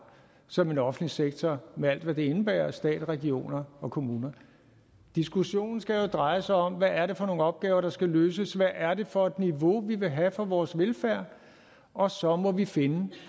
som en offentlig sektor med alt hvad det indebærer stat regioner og kommuner diskussionen skal dreje sig om hvad det er for nogle opgaver der skal løses hvad det er for et niveau vi vil have for vores velfærd og så må vi finde